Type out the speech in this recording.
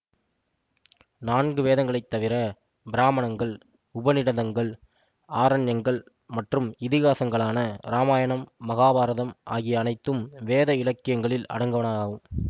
நான்கு வேதங்களைத் தவிர பிராமணங்கள் உபநிடதங்கள் ஆரண்யங்கள் மற்றும் இதிகாசங்களான இராமாயணம் மகாபாரதம் ஆகிய அனைத்தும் வேத இலக்கியங்களில் அடங்குவனவாகும்